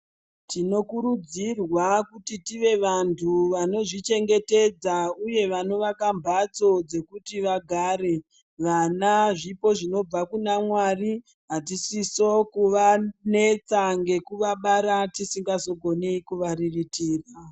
Tinokurudzirwa kuti tive vantu vanozvichengetedza uye vanovaka mbatso dzekuti vagare. Vana zvipo zvinobva kuna mwari atisisiwo kuvanetsa ngekuvabara tisingazogone kuvariritira.